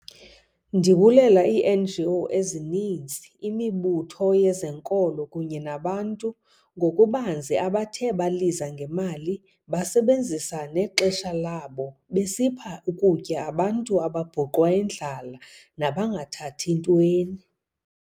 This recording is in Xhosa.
Ndibulela ii-NGO ezininzi, imibutho yezenkolo kunye nabantu ngokubanzi abathe baliza ngemali basebenzisa nexesha labo besipha ukutya abantu ababhuqwa yindlala nabangathathi ntweni.